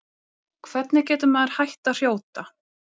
hvernig getur maður hætt að hrjóta